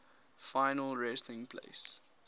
final resting place